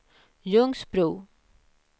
Ljungsbro